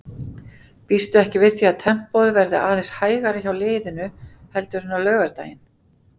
Býstu ekki við því að tempóið verði aðeins hægara hjá liðinu heldur en á laugardaginn?